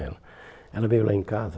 eh Ela veio lá em casa.